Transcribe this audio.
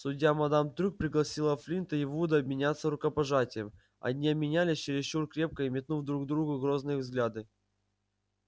судья мадам трюк пригласила флинта и вуда обменяться рукопожатием они обменялись чересчур крепко и метнув друг в друга грозные взгляды